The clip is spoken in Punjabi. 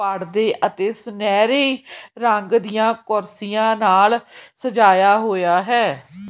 ਪੜਦੇ ਅਤੇ ਸੁਨਹਿਰੀ ਰੰਗ ਦੀਆਂ ਕੁਰਸੀਆਂ ਨਾਲ ਸਜਾਇਆ ਹੋਇਆ ਹੈ।